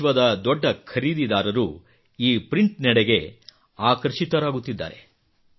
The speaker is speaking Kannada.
ವಿಶ್ವದ ದೊಡ್ಡ ಖರೀದಿದಾರರು ಈ ಪ್ರಿಂಟ್ ನೆಡೆಗೆ ಆಕರ್ಷಿತರಾಗುತ್ತಿದ್ದಾರೆ